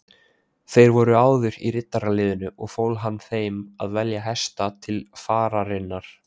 Þeir voru áður í riddaraliðinu og fól hann þeim að velja hesta til fararinnar.